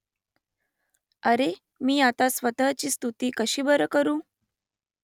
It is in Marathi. अरे मी आता स्वतःची स्तुती कशी बर करू ?